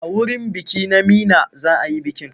A wurin biki na Meena za a yi bikin.